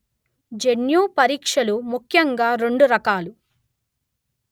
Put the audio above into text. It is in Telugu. జన్యు పరీక్షలు ముఖ్యంగా రెండు రకాలు